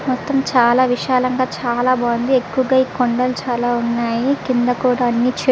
మొత్తం చాల విశాలంగా చాల బాగుంది ఎక్కువగా ఈ కొండల్లు చాల వున్నాయ్ కింద కూడా అన్ని చె --